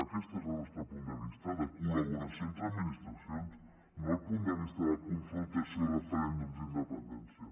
aquest és el nostre punt de vista de col·laboració entre administracions no el punt de vista de confrontació i de referèndums d’independència